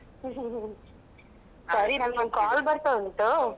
ಸರಿ ನಂಗೊಂದು call ಬರ್ತಾ ಉಂಟು.